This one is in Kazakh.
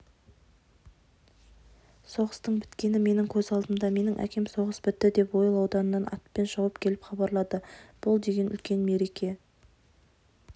соғыстың біткені менің көз алдымда менің әкем соғыс бітті деп ойыл ауданынан атпен шауып келіп хабарлады бұл деген үлкен мереке